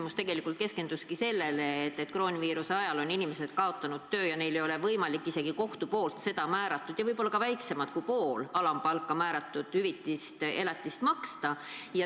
Minu küsimus keskenduski tegelikult sellele, et koroonaviiruse ajal on inimesed kaotanud töö ja neil ei ole võimalik seda kohtu määratud elatist, isegi mitte seda võib-olla väiksemat kui poolt alampalka, seda määratud hüvitist maksta.